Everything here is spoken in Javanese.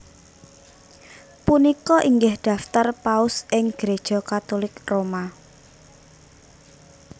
Punika inggih daftar Paus ing Gréja Katulik Roma